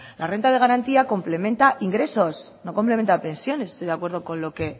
la renta de garantía complementa ingresos no complementa pensiones estoy de acuerdo con lo que